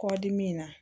Kɔdimi na